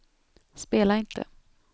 spela inte